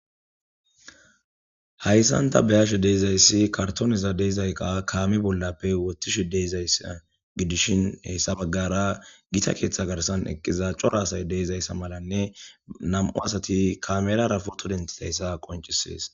Hayssanta bayashe deezayssi kartoniza deizayqa kaami bollappe wotishi deizayssa gidishin hessa baggara gita keeththa garsan eqqiza cora asay deizayssa malanne nam'u asati kamelara poto dentizayssa qoncisees